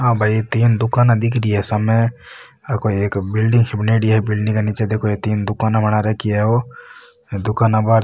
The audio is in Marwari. आ भाई तीन दुकाने दिख रही है सामे आ कोई एक बिलडिंग सी बनेडी है बिलडिंग के निचे देखो ये तीन दुकाने बना रखी है ओ दुकाना बाहर --